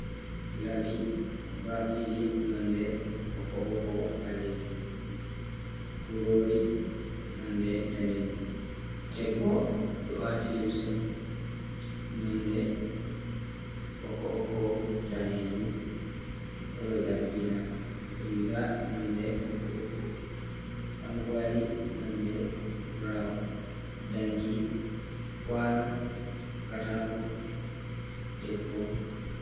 Labi baf ɗiɗi nonɗe bokko-bokko balejum. Kurori nonɗe nɗanejum. Ɗebbo ɗo wati limse nonɗe bokbokko danejum kolo zargina. Riga nonɗe bokko-bokko ɗankuali nonde burawn. Ɗanki, kwano, katako, ɗebbo.